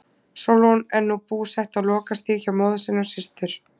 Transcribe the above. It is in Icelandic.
Sólrún er nú búsett á Lokastíg hjá móður sinni og systur.